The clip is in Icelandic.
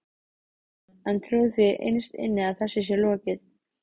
Kristján: En trúirðu því innst inni að þessu sé lokið?